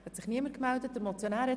– Das ist nicht der Fall.